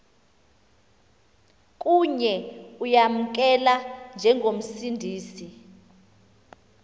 kuye uyamamkela njengomsindisi